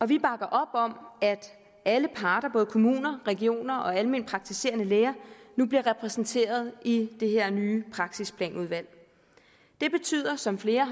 vi bakker op om at alle parter kommuner regioner og almenpraktiserende læger nu bliver repræsenteret i det her nye praksisplanudvalg det betyder som flere